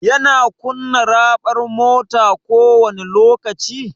Yana kunna raɓar mota kowani lokaci?